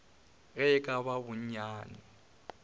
ge e ka ba bonnyane